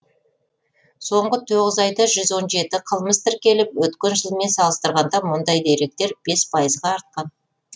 соңғы тоғыз айда жүз он жеті қылмыс тіркеліп өткен жылмен салыстырғанда мұндай деректер бес пайызға артқан